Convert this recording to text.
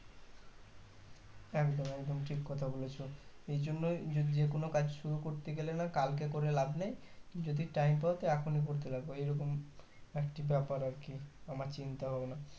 একদম একদম ঠিককথা বলেছো এই জন্যই যদি যে কোনো কাজ শুরু করতে গেলে না কালকে করে লাভ নেই যদি time পাও তো এখনই করতে লাগো এইরকম একটি ব্যাপার আর কি আমার চিন্তা ভাবনা